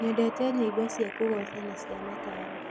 Nyendete nyĩmbo cia kũgooca na cia mataaro.